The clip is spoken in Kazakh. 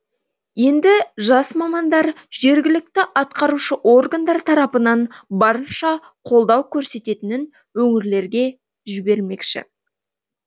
енді жас мамандар жергілікті атқарушы органдар тарапынан барынша қолдау көрсететінін өңірлерге жібермекші